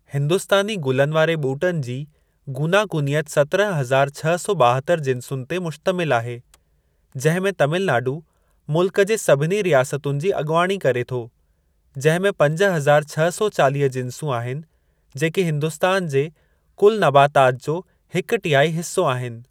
हिंदुस्तानी गुलनि वारे ॿूटनि जी गूनागूनियत सत्रहं हज़ार छह सौ ॿाहतरि जिंसुनि ते मुश्तमिल आहे जंहिं में तमिलनाडू मुल्कु जे सभिनी रियासतुनि जी अॻुवाणी करे थो, जंहिं में पंज हज़ार छह सौ चालीह जिन्सूं आहिनि जेकी हिन्दुस्तान जे कुलु नबातात जो हिक टिहाई हिस्सो आहिनि।